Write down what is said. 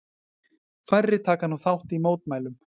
Færri taka nú þátt í mótmælum